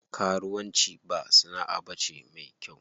Karuwan ci ba sana'a bace me kyau.